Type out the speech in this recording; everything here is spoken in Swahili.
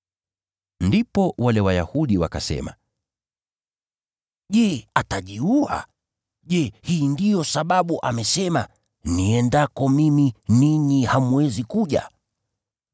Ndipo wale Wayahudi wakasema, “Je, atajiua? Je, hii ndiyo sababu amesema, ‘Niendako mimi ninyi hamwezi kuja’ ?”